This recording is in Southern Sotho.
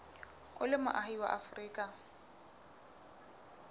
o le moahi wa afrika